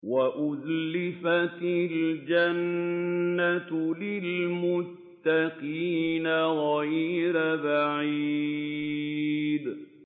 وَأُزْلِفَتِ الْجَنَّةُ لِلْمُتَّقِينَ غَيْرَ بَعِيدٍ